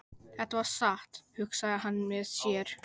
Þetta var satt, hugsaði hann með sér.